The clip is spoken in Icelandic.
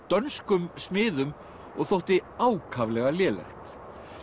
dönskum smiðum og þótti ákaflega lélegt